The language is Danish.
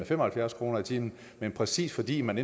fem og firs kroner i timen men præcis fordi man